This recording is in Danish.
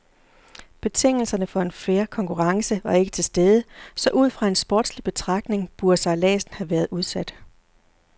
Betingelserne for en fair konkurrence var ikke tilstede, så ud fra en sportslig betragtning burde sejladsen have været udsat.